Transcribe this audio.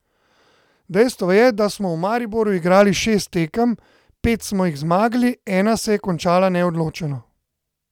Dejstvo je, da smo v Mariboru igrali šest tekem, pet smo jih zmagali, ena se je končala neodločeno.